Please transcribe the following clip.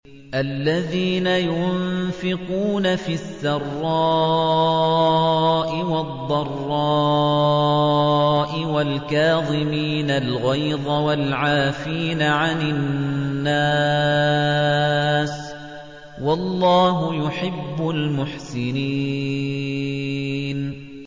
الَّذِينَ يُنفِقُونَ فِي السَّرَّاءِ وَالضَّرَّاءِ وَالْكَاظِمِينَ الْغَيْظَ وَالْعَافِينَ عَنِ النَّاسِ ۗ وَاللَّهُ يُحِبُّ الْمُحْسِنِينَ